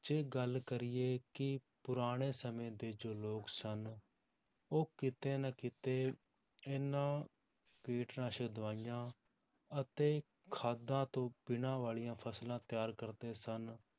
ਜੇ ਗੱਲ ਕਰੀਏ ਕਿ ਪੁਰਾਣੇ ਸਮੇਂ ਦੇ ਜੋ ਲੋਕ ਸਨ, ਉਹ ਕਿਤੇ ਨਾ ਕਿਤੇ ਇਹਨਾਂ ਕੀਟਨਾਸ਼ਕ ਦਵਾਈਆਂ ਅਤੇ ਖਾਦਾਂ ਤੋਂ ਬਿਨਾਂ ਵਾਲੀਆਂ ਫਸਲਾਂ ਤਿਆਰ ਕਰਦੇ ਸਨ,